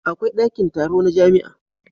Akwai dakin taro na jamia